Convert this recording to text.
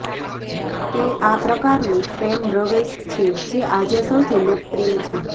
તે આ પ્રકારનું ફ્રેમ રવેશ છે જે આજે સૌથી લોકપ્રિય છે